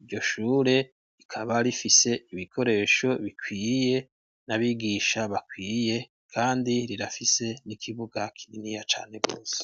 iryo shure, rikaba rifise ibikoresho bikwiye, n'abigisha bakwiye, kandi rirafise n'ikibuga kininiya cane rwose.